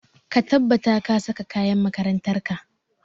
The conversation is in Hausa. Ka tabbata ka saka kayan makarantar ka!